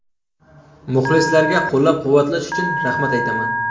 Muxlislarga qo‘llab-quvvatlash uchun rahmat aytaman.